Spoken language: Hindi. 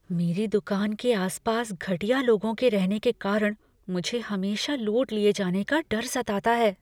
मेरी दुकान के आस पास घटिया लोगों के रहने के कारण मुझे हमेशा लूट लिए जाने का डर सताता है।